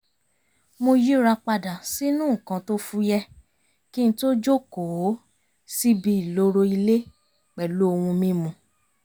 mo yíra padà sínú nǹkan tó fúyẹ́ kí n tó jókòó síbi ìloro ilé pẹ̀lú ohun mímu (tíì)